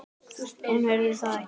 Hún heyrði það ekki.